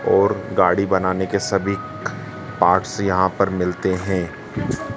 और गाड़ी बनाने के सभी पार्ट्स यहां पर मिलते हैं।